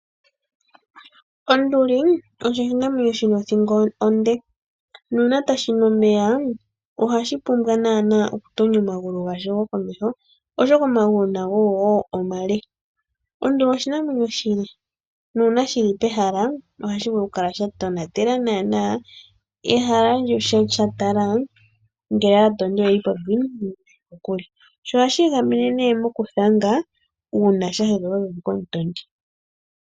Onduli osho oshinamwenyo shi na othingo onde, nuuna tashi nu omeya, ohashi pumbwa naanaa okutonya omagulu gasho gokomeho, oshoka omagulu nago wo omale. Onduli oshinamwenyo oshile, nuuna shi li pehala, ohashi vulu okukala sha tonatela naanaa ehala, sha tala ngele aatondi oye li popepi nenge oye li kokule. Sho ohashi igamene nokuthanga uuna sha hedhwa popepi komutondi.